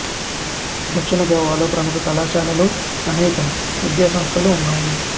దక్షిణ గోవాలో ప్రముఖ కళాశాలలు అనేకం విద్యా సంస్థలు ఉన్నాయి